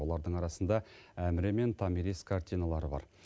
олардың арасында әміре мен томирис картиналары бар